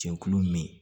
Cɛkulu min